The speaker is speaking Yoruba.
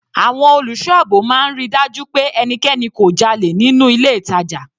Àwọn olùṣọ́ àbò máa ń ríi dájú pé ẹnikẹni kò dálẹ̀ nínú ilé ìtàjà.